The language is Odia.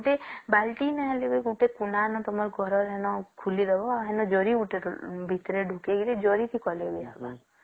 ଗୋଟେ ବାଲ୍ଟି ନ ହେଲେ ବି ଗୋଟେ କୁନାନ ତମର ଘରେ ଖୋଲିଦେବା ନହଲେ ଜରି ଗୋଟେ ଭିତରେ ଢୁକେଇ କି ଜରି କି କଲେ ବି ହବ